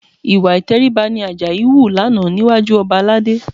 Ìwà ìtẹríba ni Àjàyí hù lánàá níwájú ọba Aládé